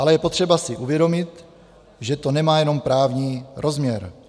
Ale je potřeba si uvědomit, že to nemá jenom právní rozměr.